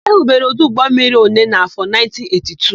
E hubere ọdụ ụgbọmmiri Onee n'áfọ̀ 1982.